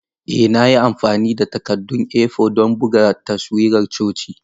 Ee na yi amfani da takaddun A4 don buga taswirar coci.